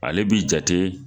Ale b'i jate